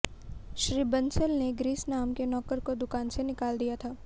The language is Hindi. श्री बंसल ने ग्रीस नाम के नौकर को दुकान से निकाल दिया था